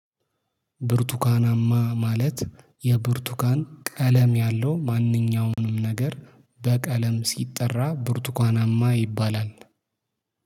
ብርቱካናማ ማለት የብርቱካን ቀለም ያለው ማንኛውንም ነገር በቀለም ሲጠራ ብርቱካናማ ይባላል።